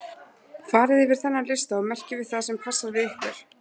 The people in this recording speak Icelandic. Farið yfir þennan lista og merkið við það sem passar við ykkur.